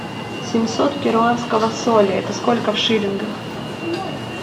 семьсот перуанского соля это сколько в шиллингах